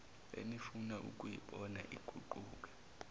enifuna ukuyibona iguquka